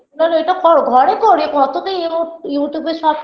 করো ওইটা করো ঘরে করে কত তো ইউমু YouTube -এ সব